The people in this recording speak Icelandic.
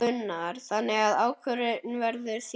Gunnar: Þannig að ákvörðunin verður þín?